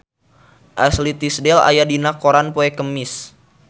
Ashley Tisdale aya dina koran poe Kemis